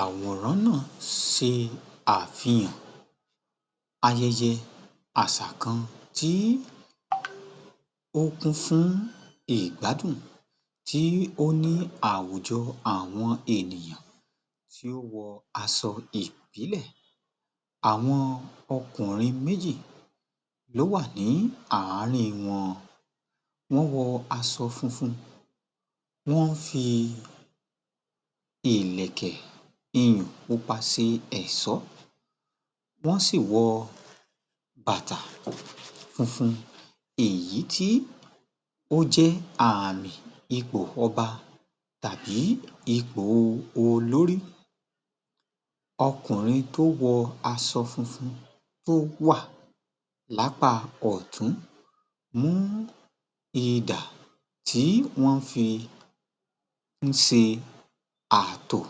Àwòrán náa ́ṣe àfihàn ayẹyẹ àṣà kan tí ó kún fún ìgbádùn, tí ó ní àwùjọ àwọn ènìyàn tí ó wọ aṣọ ìbílẹ̀, àwon ọkùnrin méjì ló wà ní àárín wọn, wọ́n wọ aṣọ funfun, wọ́n ń fi ìlẹ̀kẹ̀ iyùn pupa ṣe ẹ̀ṣọ́, wọ́n sì wọ bàtà funfun, èyí tí ó jẹ́ àmì ipò ọba tàbí ipò olórí. Ọkùnrin tó wọ aṣọ funfun tó wà lápá ọ̀tún mú idà tí wọ́n fi ń ṣe àtò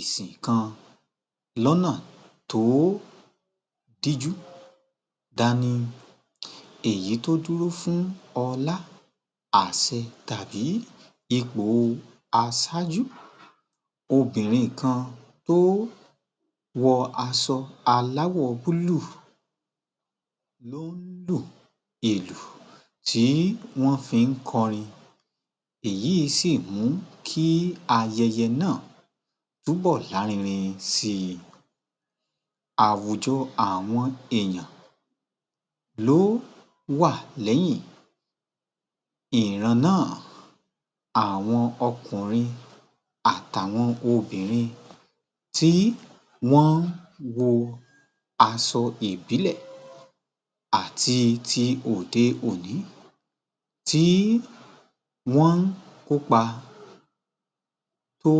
ìsìn kan lọ́nà tó díjú dání, èyí tó dúró fún ọlá, àṣẹ tàbí ipò aṣáájú, obìnrin kan tí ó wọ aṣọ aláwò búlúù ló ń lu ìlù tí wọ́n fi ń kọri, èyí sì mú kí ayẹyẹ náà túbọ̀ lárinrin sí i. Àwùjọ àwọn èèyàn ló wà lẹ́yìn ìran náà. Àwọn ọkùnrin àti àwọn obìnrin tí wọ́n wọ aṣọ ìbílẹ̀ àti ti òde-òní tí wọ́n ń kópa tó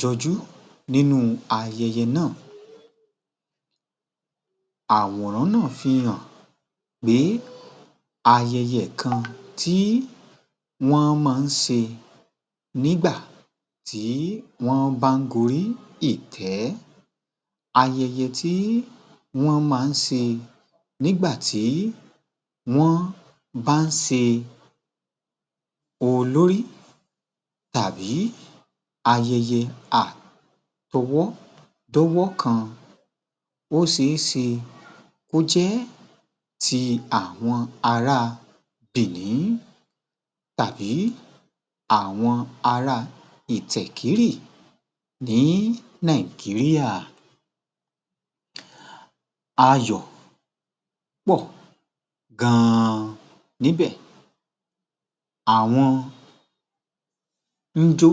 jọjú nínú ayẹyẹ náà. Àwòrán náà fi hàn pé ayẹyẹ kan tí wọ́n máa ń ṣe nígbà tí wọ́n bá ń gorí ìtẹ́, ayẹyẹ tí wọ́n máa ń ṣe nígbà tí wọ́n bá ń ṣe olórí tàbí ayẹyẹ àtọwọ́dọ́wọ́ kan, ó ṣe é ṣe kó jẹ́ ti àwọn ará Bìní, tàbí àwọn ará Ìtsẹ̀kírì ní Nàìjíríà. Ayọ̀ pọ̀ gan-an níbẹ̀, àwọn ń jó,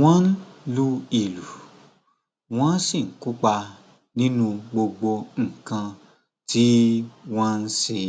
wọ́n ń lu ìlù, wọ́n sì ń kópa nínú gbogbo nǹkan tí wọ́n ń ṣe.